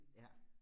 Ja